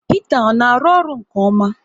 Hita ọ na arụ ọrụ nke ọma?